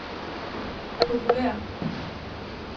populære